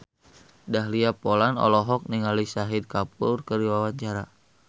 Dahlia Poland olohok ningali Shahid Kapoor keur diwawancara